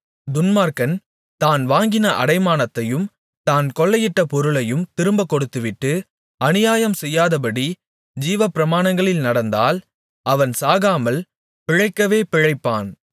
துன்மார்க்கன் தான் வாங்கின அடைமானத்தையும் தான் கொள்ளையிட்ட பொருளையும் திரும்பக் கொடுத்துவிட்டு அநியாயம் செய்யாதபடி ஜீவப்பிரமாணங்களில் நடந்தால் அவன் சாகாமல் பிழைக்கவே பிழைப்பான்